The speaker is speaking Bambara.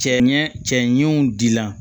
Cɛ ɲɛ cɛ ɲɛw dila